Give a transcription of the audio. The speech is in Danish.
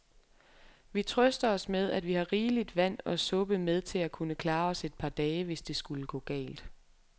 Vi trøster os med, at vi har rigeligt vand og suppe med til at kunne klare os et par dage, hvis det skulle gå galt.